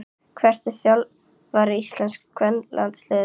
Hver er þjálfari íslenska kvennalandsliðsins?